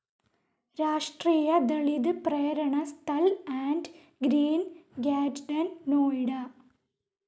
രാഷ്ട്രീയ Dalit Prerna Sthal and Green Garden, Noida